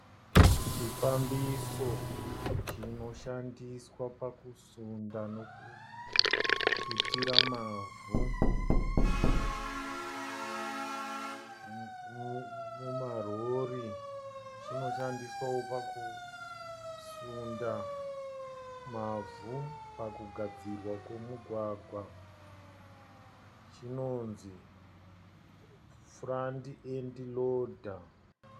Chifambiso chinoshandiswa pakusunda nekututira mavhu mumarori. Chinoshandiswawo pakusunda mavhu pakugadzirwa kwemugwagwa. Chinonzi 'Front End Loader'.